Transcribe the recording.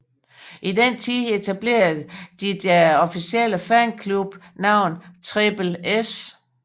I den tid etablerede de deres officielle fanklub navn Trippel S